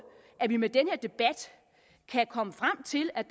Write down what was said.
at vi med den her debat kan komme frem til at